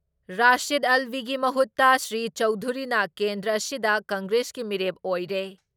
ꯔꯥꯁꯤꯗ ꯑꯜꯕꯤꯒꯤ ꯃꯍꯨꯠꯇ ꯁ꯭ꯔꯤ ꯆꯧꯙꯨꯔꯤꯅ ꯀꯦꯟꯗ꯭ꯔ ꯑꯁꯤꯗ ꯀꯪꯒ꯭ꯔꯦꯁꯀꯤ ꯃꯤꯔꯦꯞ ꯑꯣꯏꯔꯦ ꯫